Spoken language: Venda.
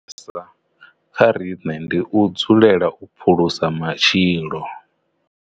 Sa kha riṋe ndi u dzulela u phulusa matshilo.